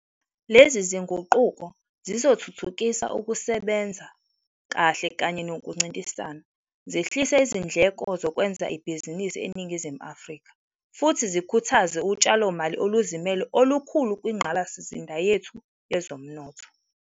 Lezi zinguquko zizothuthukisa ukusebenza kahle kanye nokuncintisana, zehlise izindleko zokwenza ibhizinisi eNingizimu Afrika, futhi zikhuthaze utshalomali oluzimele olukhulu kwingqalasizinda yethu yezomnotho.